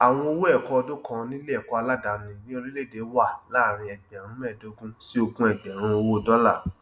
àwọn owó ẹkọ ọdún kan níléẹkọ aládàní ní orílẹèdè wà láàárín ẹgbẹrùn mẹẹdógún sí ogún ẹgbẹrún owó dọlà